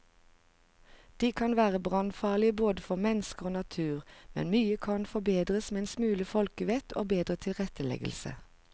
De kan være brannfarlige både for mennesker og natur, men mye kan forbedres med en smule folkevett og bedre tilretteleggelse.